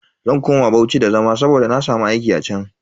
Zan koma Bauchi da zama saboda na samu aiki a chan.